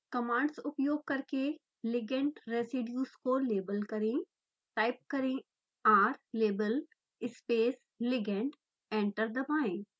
commands उपयोग करके ligand residues को लेबल करेंटाइप करें rlabelस्पेस ligand एंटर दबाएँ